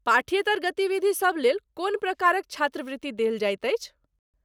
पाठ्येतर गतिविधिसभ लेल कोन प्रकारक छात्रवृत्ति देल जाइत अछि।